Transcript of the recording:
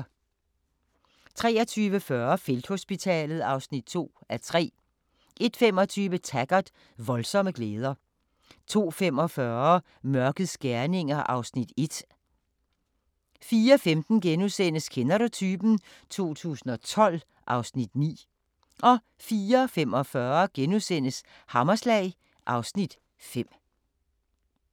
23:40: Felthospitalet (2:3) 01:25: Taggart: Voldsomme glæder 02:45: Mørkets gerninger (Afs. 1) 04:15: Kender du typen? 2012 (Afs. 9)* 04:45: Hammerslag (Afs. 5)*